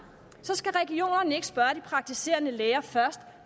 praktiserende læger først